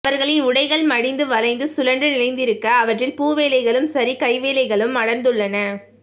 அவர்களின் உடைகள் மடிந்து வளைந்து சுழன்று நிறைந்திருக்க அவற்றில் பூவேலைகளும் சரிகைவேலைகளும் அடர்ந்துள்ளன